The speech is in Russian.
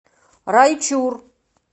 райчур